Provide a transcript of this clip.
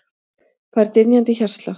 Fær dynjandi hjartslátt.